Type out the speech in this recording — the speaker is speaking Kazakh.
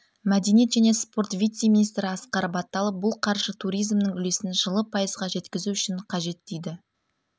мәдениет және спорт вице-министрі асқар баталов бұл қаржы туризмнің үлесін жылы пайызға жеткізу үшін қажет дейді